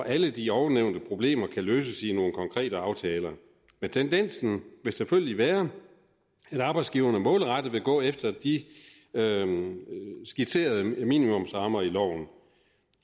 alle de ovennævnte problemer kan løses i nogle konkrete aftaler men tendensen vil selvfølgelig være at arbejdsgiverne målrettet vil gå efter de skitserede minimumsrammer i loven